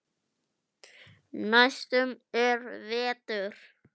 Næstur er Vetur.